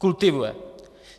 Kultivuje.